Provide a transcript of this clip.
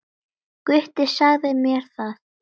Gutti sagði mér það, já.